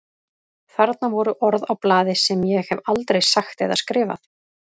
Þarna voru orð á blaði sem ég hef aldrei sagt eða skrifað.